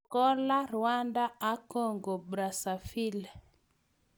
Angola, Rwanda ak Congo-Brazaville.